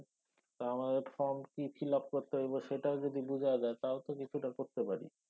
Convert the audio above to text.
তা আমাদের form কি fill up করতে হইব তা যদি বুঝায়া দেয় তাও তো কিছুটা করতে পারি।